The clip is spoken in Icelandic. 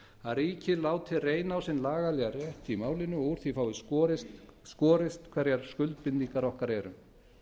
að ríkið láti reyna á sinn lagalega rétt í málinu og úr því fáist skorist hverjar skuldbindingar okkar eru